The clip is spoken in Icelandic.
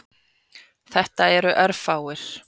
Þetta eru örfáir.